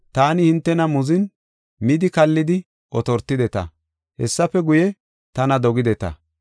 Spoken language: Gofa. Taani hintena muzin, midi kallidi otortideta; hessafe guye, tana dogideta.